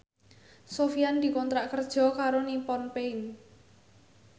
Sofyan dikontrak kerja karo Nippon Paint